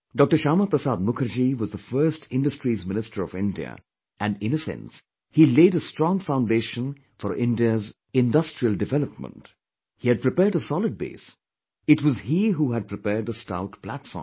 Shyama Prasad Mukherjee was the first Industries minister of India and, in a sense, helaid a strong foundation for India's industrial development, he had prepared a solid base, it was he who had prepared a stout platform